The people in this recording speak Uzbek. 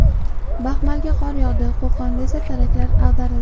Baxmalga qor yog‘di, Qo‘qonda esa teraklar ag‘darildi .